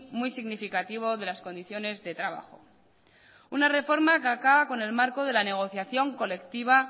muy significativo de las condiciones de trabajo una reforma que acaba con el marco de la negociación colectiva